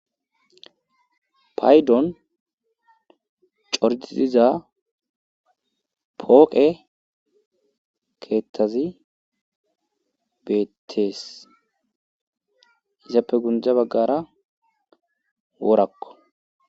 paydon cordidiza pooqe keethazi beettees. izappe gundde baggara worakko.